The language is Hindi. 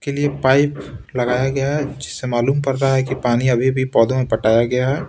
के लिए पाइप लगाया गया है जिससे मालूम पड़ रहा है कि पानी अभी भी पौधों में पटाया गया है।